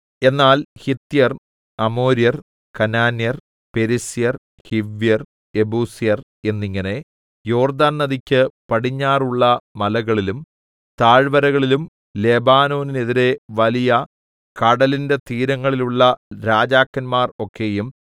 എന്നാൽ ഹിത്യർ അമോര്യർ കനാന്യർ പെരിസ്യർ ഹിവ്യർ യെബൂസ്യർ എന്നിങ്ങനെ യോർദ്ദാന്‍ നദിക്ക് പടിഞ്ഞാറുള്ള മലകളിലും താഴ്‌വരകളിലും ലെബാനോനെതിരെ വലിയ കടലിന്റെ തീരങ്ങളിലുള്ള രാജാക്കന്മാർ ഒക്കെയും